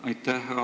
Aitäh!